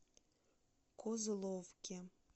козловке